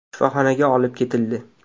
Shifoxonaga olib ketildi.